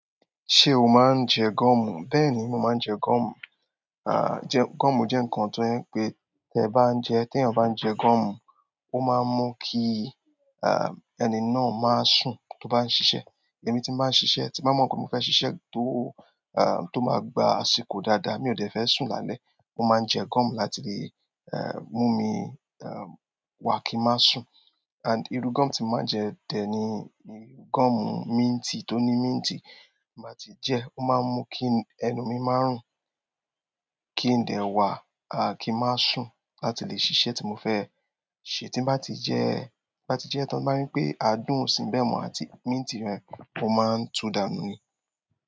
Ṣé o máa ń jẹ gọ́ọ̀mù? Bẹ́ẹ̀ni mo máa ń jẹ gọ́ọ̀mù, gọ́ọ̀mù jẹ́ ǹkan tó jẹ́ wípé tí ẹ bá ń jẹ tí eyan bá ń jẹ gọ́ọ̀mù o máa ń mú kí ẹni náà má sunto bá ń ṣiṣẹ́ tí n bá ṣiṣẹ́ tí n bá mo pé mo fẹ́ ṣiṣẹ́ tí o máa gba àsìkò dáadáa tí mio dẹ̀ fẹ́ sùn lálẹ́ mo máa ń jẹ gọ́ọ̀mù láti lè mumi wa kín má sùn and irú gọ́ọ̀mù tí mo máa ń jẹ tẹ́ẹ́ ní irú gọ́ọ̀mù minti, tó ní minti. Bí mo bá ti jẹ ẹ́, ó máa ń mú kí ẹnu mi má rùn, kí ń dẹ̀ wà à kí ń má sùn láti lè ṣiṣẹ́ tí mo fẹ́. Tí n bá ti jẹ ẹ́, bá ti jẹ́ tán, tí n bá rí pé adùn ọ̀ sìn bẹ́ẹ̀ mọ́ àti minti rẹ, mó máa ń tú dànù ni.